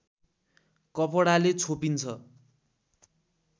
कपडाले छोपिन्छ